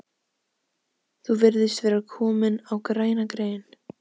Þú virðist vera kominn á græna grein